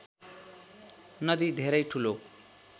नदी धेरै ठूलो